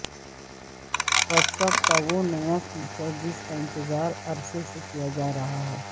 what's app کا وہ نیا فیچر جس کا انتظار عرصے سے کیا جارہا ہے